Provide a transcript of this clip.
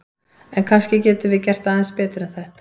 En kannski getum við gert aðeins betur en þetta!